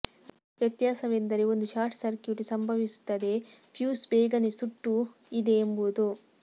ವ್ಯತ್ಯಾಸವೆಂದರೆ ಒಂದು short circuit ಸಂಭವಿಸುತ್ತದೆ ಫ್ಯೂಸ್ ಬೇಗನೆ ಸುಟ್ಟು ಇದೆ ಎಂಬುದು